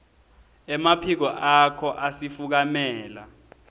emaphiko akho asifukamela